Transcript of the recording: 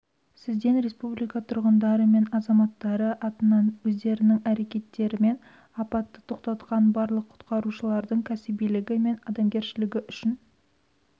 сізден республика тұрғындары мен азаматтары атынан өздерінің әрекеттерімен апатты тоқтатқан барлық құтқарушыларды кәсібилігі мен адамгершілігі үшін